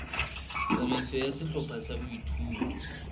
tsamaiso ya sehlopha sa boithuto